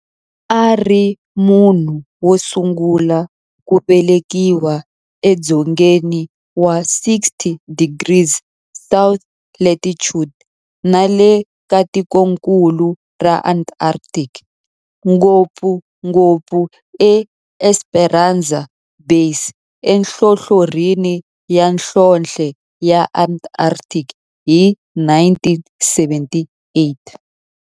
A ri munhu wosungula ku velekiwa e dzongeni wa 60 degrees south latitude nale ka tikonkulu ra Antarctic, ngopfungopfu eEsperanza Base enhlohlorhini ya nhlonhle ya Antarctic hi 1978.